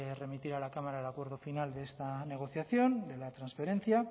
remitir a la cámara el acuerdo final de esta negociación de la transferencia